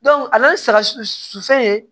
a bɛ saga su fɛ